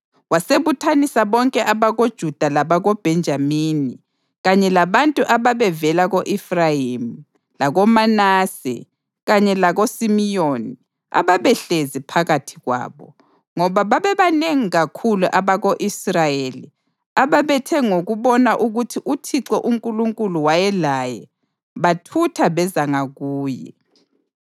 Wasebuthanisa bonke abakoJuda labakoBhenjamini kanye labantu ababevela ko-Efrayimi, lakoManase kanye lakoSimiyoni ababehlezi phakathi kwabo, ngoba babebanengi kakhulu abako-Israyeli ababethe ngokubona ukuthi uThixo uNkulunkulu wayelaye bathutha beza ngakuye.